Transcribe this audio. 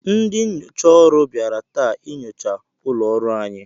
Ndị nnyocha ọrụ bịara taa inyocha ụlọ ọrụ anyị.